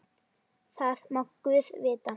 Það má guð vita.